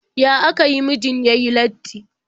Ya aka yi mijin ya yi latti?